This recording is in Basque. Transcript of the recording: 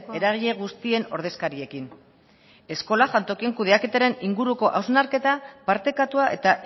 eragile guztien ordezkariekin eskola jantokien kudeaketaren inguruko hausnarketa partekatua eta